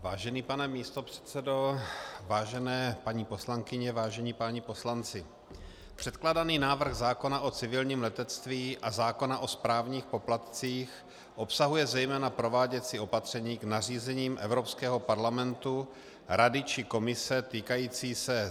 Vážený pane místopředsedo, vážené paní poslankyně, vážení páni poslanci, předkládaný návrh zákona i civilním letectví a zákona o správních poplatcích obsahuje zejména prováděcí opatření k nařízením Evropského parlamentu, Rady či Komise týkající se